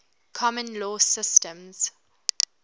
common law systems